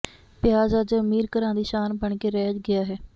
ਪਿਆਜ਼ ਅੱਜ ਅਮੀਰ ਘਰਾਂ ਦੀ ਸ਼ਾਨ ਬਣ ਕੇ ਰਹਿ ਗਿਆ ਹੈ